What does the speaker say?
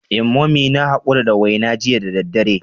Eh Mummy na hakura da wena jiya da daddare.